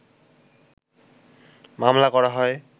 মামলা করা হয়